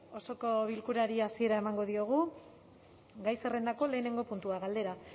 osoko bilkurari hasiera emango diogu gai zerrendako lehenengo puntua galdera